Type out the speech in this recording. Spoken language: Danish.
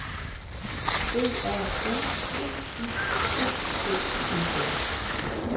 B A N D I T T E N